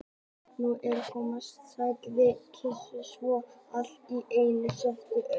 Nú er þetta að koma, sagði Gísli svo allt í einu og settist upp.